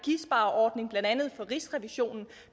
der andet fra rigsrevisionen